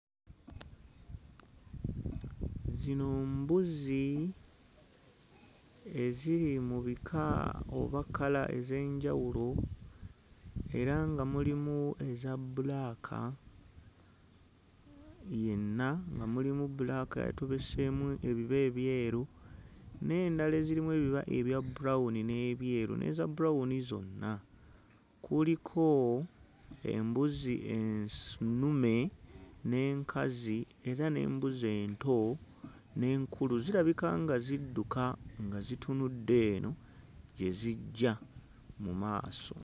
Zino mbuzi eziri mu bika oba kkala ez'enjawulo era nga mulimu eza bbulaaka yenna nga mulimu bbulaaka yatobeseemu ebiba ebyeru n'endala ezirimu ebiba ebya brown n'ebyeru n'eza brown zonna. Kuliko embuzi ensu nnume n'enkazi era n'embuzi ento n'enkulu zirabika nga zidduka nga zitunudde eno gye zijja mu maaso.